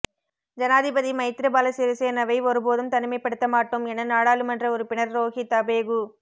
ஜனாதிபதி மைத்திரிபால சிறிசேனவை ஒரு போதும் தனிமைப்படுத்தமாட்டோம் என நாடாளுமன்ற உறுப்பினர் ரோஹித அபேகு